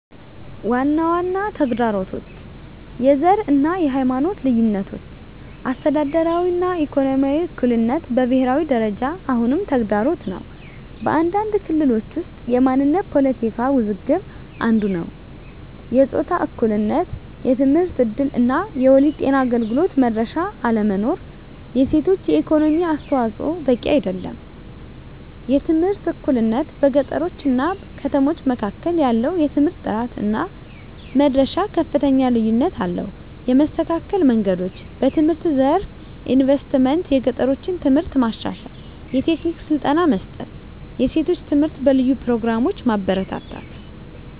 ዋና ዋና ተግዳሮቶች፦ # የዘር እና የሃይማኖት ልዩነቶች - አስተዳደራዊ እና ኢኮኖሚያዊ እኩልነት በብሄራዊ ደረጃ አሁንም ተግዳሮት ነው። በአንዳንድ ክልሎች ውስጥ የማንነት ፖለቲካ ውዝግብ አንዱ ነዉ። #የጾታ እኩልነት የትምህርት እድል እና የወሊድ ጤና አገልግሎት መድረሻ አለመኖር። የሴቶች የኢኮኖሚ አስተዋፅዖ በቂ አይደለም። #የትምህርት እኩልነት - በገጠሮች እና ከተሞች መካከል ያለው የትምህርት ጥራት እና መድረሻ ከፍተኛ ልዩነት አለው። የመስተካከል መንገዶች፦ #በትምህርት ዘርፍ ኢንቨስትመንት - የገጠሮችን ትምህርት ማሻሻል፣ የቴክኒክ ስልጠና መስጠት፣ የሴቶች ትምህርት በልዩ ፕሮግራሞች ማበረታታት።